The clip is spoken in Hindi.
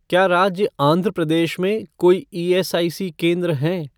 क्या राज्य आंध्र प्रदेश में कोई ईएसआईसी केंद्र हैं?